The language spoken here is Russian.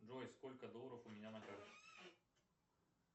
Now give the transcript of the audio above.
джой сколько долларов у меня на карте